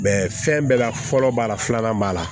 fɛn bɛɛ la fɔlɔ b'a la filanan b'a la